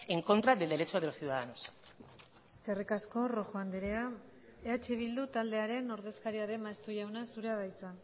en contra del derecho de los ciudadanos eskerrik asko rojo andrea eh bildu taldearen ordezkaria den maeztu jauna zurea da hitza